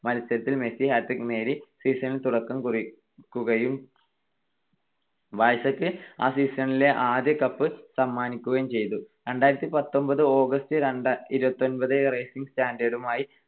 മത്സരത്തിൽ Messi hat trick നേടി ആ season നു തുടക്കം കുറിക്കുകയും ബാഴ്സക്ക് ആ season ലെ ആദ്യ കപ്പ് സമ്മാനിക്കുകയും ചെയ്തു. രണ്ടായിരത്തിപത്തൊൻപത് August ഇരുപത്തിയൊൻപതു റേസിംഗ് സന്റാൻഡറുമായി